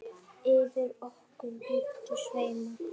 Yfir okkur muntu sveima.